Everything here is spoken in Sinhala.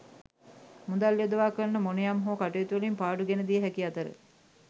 මුදල් යොදවා කරන මොනයම් හෝ කටයුතුවලින් පාඩු ගෙනදිය හැකි අතර